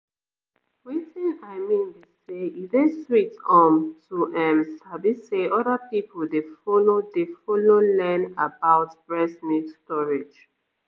wetin i mean be say e dey sweet um to ehm sabi say other people dey follow dey follow learn about breast milk storage